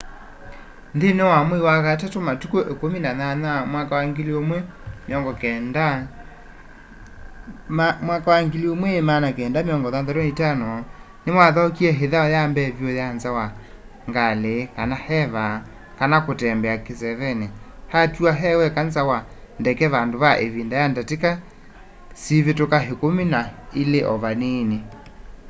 nthĩnĩ wa mwai wa katatũ matukũ 18 1965 nĩwathaũkie ĩthau ya mbee vyũ ya nza wa ngalĩ eva kana kutembea kĩsevenĩ” atiwa e weka nza wa ndeke vandũ va ĩvinda ya ndatĩka sivĩtũkĩte ĩkumi na ilĩ o vanini